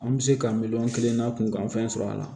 An bɛ se ka miliyɔn kelen na kunkanfɛn sɔrɔ a la